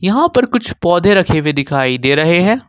यहां पर कुछ पौधे रखे हुए दिखाई दे रहे हैं।